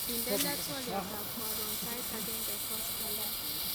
Indenee twoliot ab karon sait agenge koskolin